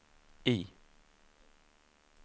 I